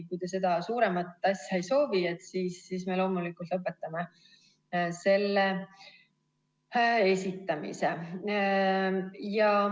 Kui te seda suuremat asja ei soovi, siis me loomulikult lõpetame selle esitamise.